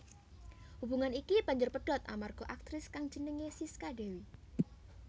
Hubungan iki banjur pedhot amarga aktris kang jenengé Sisca Dewi